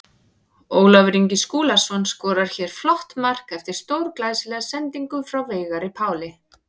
Ólafur Ingi Skúlason skorar hér flott mark eftir stórglæsilega sendingu frá Veigari Páli.